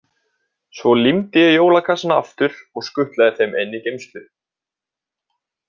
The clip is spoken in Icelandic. Svo límdi ég jólakassana aftur og skutlaði þeim inn í geymslu.